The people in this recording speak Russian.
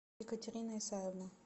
екатерина исаевна